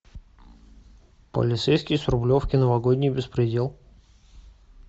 полицейский с рублевки новогодний беспредел